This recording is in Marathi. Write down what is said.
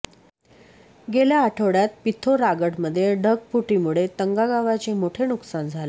गेल्या आठवड्यात पिथौरागडमध्ये ढगफुटीमुळे तंगा गावाचे मोठे नुकसान झाले